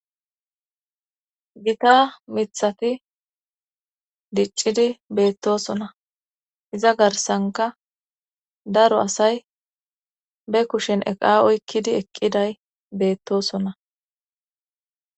Gita mithati diccidi beettosona iza garsanka daro asay be kushen eqa oykkidi eqqiday beettosona